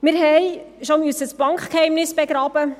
Wir mussten bereits das Bankgeheimnis begraben.